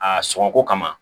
A sɔngɔ ko kama